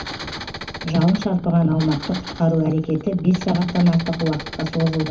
жалын шарпыған аумақты құтқару әрекеті бес сағаттан артық уақытқа созылды